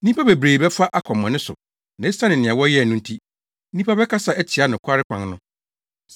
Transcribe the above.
Nnipa bebree bɛfa akwammɔne so na esiane nea wɔyɛ no nti, nnipa bɛkasa atia nokware kwan no.